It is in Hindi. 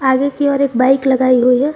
आगे की ओर एक बाइक लगाई गई है।